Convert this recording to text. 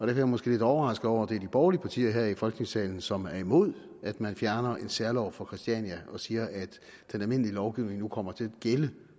jeg måske lidt overrasket over at det er de borgerlige partier her i folketingssalen som er imod at man fjerner en særlov for christiania og siger at den almindelige lovgivning nu kommer til at gælde